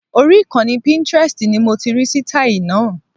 Orí ìkànnì Pintrest ni mo ti rí sítáì náà